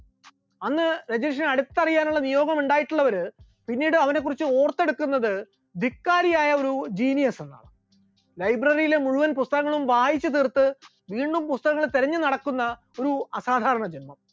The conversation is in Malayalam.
അന്ന് രജനീഷിന് അടുത്തറിയാനുള്ള നിയോഗം ഉണ്ടായിട്ടുള്ളവർ പിന്നീട് അവനെ കുറിച്ച് ഓർത്തെടുക്കുന്നത് ധിക്കാരിയായ ഒരു genious എന്നാണ്, library യിലെ മുഴുവൻ പുസ്തകങ്ങളും വായിച്ചുതീർത്ത് വീണ്ടും പുസ്തകങ്ങൾ തിരഞ്ഞുനടക്കുന്ന ഒരു അസാധാരണ ജന്മം.